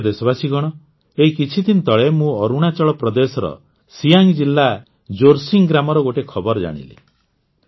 ପ୍ରିୟ ଦେଶବାସୀଗଣ ଏଇ କିଛିଦିନ ତଳେ ମୁଁ ଅରୁଣାଚଳ ପ୍ରଦେଶର ସିଆଙ୍ଗ ଜିଲ୍ଲା ଜୋର୍ସିଙ୍ଗ ଗ୍ରାମର ଗୋଟିଏ ଖବର ଜାଣିଲି